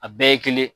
A bɛɛ ye kelen